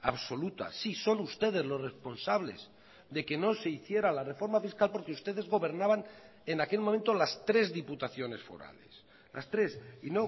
absoluta sí son ustedes los responsables de que no se hiciera la reforma fiscal porque ustedes gobernaban en aquel momento las tres diputaciones forales las tres y